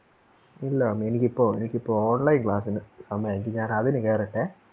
ഇല്ല എനിക്കിപ്പോ എനിക്കിപ്പോ online class ഇന് സമയായി ഞാനതിനു കേറട്ടെ